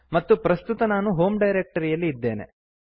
ಮತ್ತು ಪ್ರಸ್ತುತ ನಾನು ಹೋಮ್ ಡೈರಕ್ಟರಿಯಲ್ಲಿ ಇದ್ದೇನೆ